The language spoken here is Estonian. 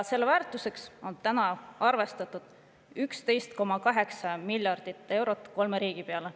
Selle väärtuseks on arvestatud 11,8 miljardit eurot kolme riigi peale.